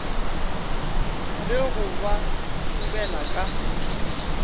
le go ba thubela ka